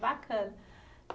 Bacana.